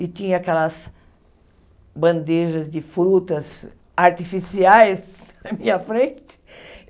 E tinha aquelas bandejas de frutas artificiais na minha frente.